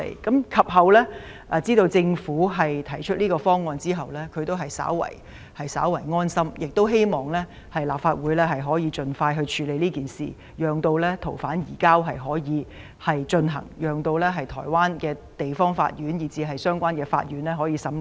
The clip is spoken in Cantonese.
可是，他們知道政府將提出修例建議後便感到安心，希望立法會盡快通過，令逃犯順利移交，以便台灣地方法院及相關法院進行審理。